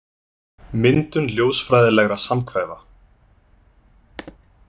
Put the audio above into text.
Myndun ljósfræðilegra samhvefa.